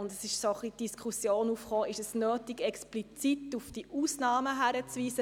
Deshalb kam die Frage auf, ob es nötig sei, explizit auf diese Ausnahmen hinzuweisen.